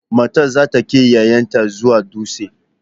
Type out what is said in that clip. Matar za ta kai 'ya'yanta zuwa dutse.